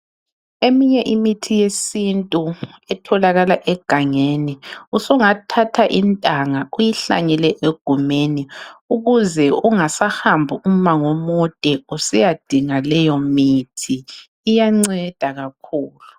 Eminye imithi yesintu etholakala egangeni usungathatha intanga uyihlanyele egumeni ukuze ungasahambi umango omude usiyadinga leyo mithi. Kuyanceda kakhulu.